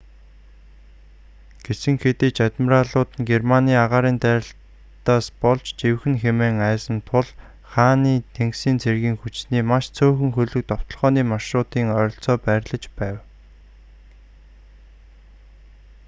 гэсэн хэдий ч адмиралууд нь германы агаарын дайралтаас болж живэх нь хэмээн айсан тул хааны тэнгисийн цэргийн хүчний маш цөөхөн хөлөг довтолгооны маршрутын ойролцоо байрлаж байв